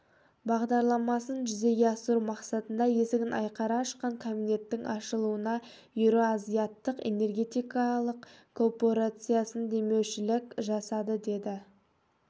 бағдарламасын жүзеге асыру мақсатында есігін айқара ашқан кабинеттің ашылуына еуроазияттық энергетикалық коопорациясы демеушілік жасады деді